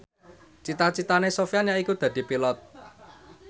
cita citane Sofyan yaiku dadi Pilot